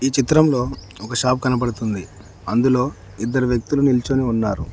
చిత్రంలో ఒక షాప్ కనబడుతుంది అందులో ఇద్దరు వ్యక్తులు నిల్చొని ఉన్నారు.